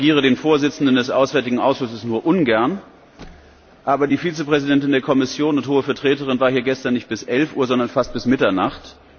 Ich korrigiere den Vorsitzenden des Auswärtigen Ausschusses nur ungern, aber die Vizepräsidentin der Kommission und Hohe Vertreterin war hier gestern nicht bis elf Uhr, sondern fast bis Mitternacht.